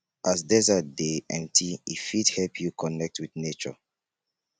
as desert dey empty e fit help you connect wit nature